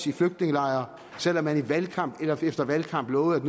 i flygtningelejre selv om man valgkamp efter valgkamp lovede at